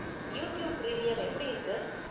YouTube premium எப்படி இருக்கு?